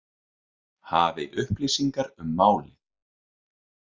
Hafi upplýsingar um málið.